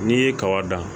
N'i ye kaba dan